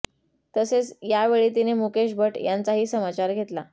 तसेच यावेळी तिने मुकेश भट्ट यांचाही समाचार घेतला